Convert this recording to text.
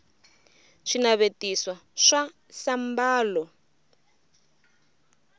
swinavetiso swa sambalo